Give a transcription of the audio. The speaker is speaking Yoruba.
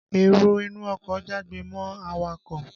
Èrò inú ọkọ̀ jágbe mọ́ awakọ̀